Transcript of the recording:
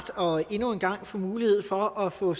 rart endnu en gang at få mulighed for at få